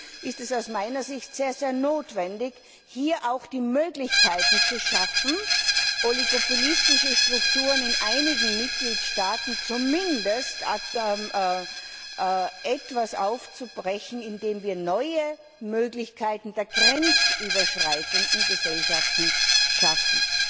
Deswegen ist es aus meiner Sicht unbedingt notwendig, hier auch die Möglichkeiten zu schaffen, oligopolistische Strukturen in einigen Mitgliedstaaten zumindest etwas aufzubrechen, indem wir neue Möglichkeiten der grenzüberschreitenden Gesellschaften schaffen.